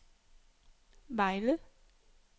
Vejle